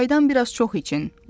Çaydan biraz çox için.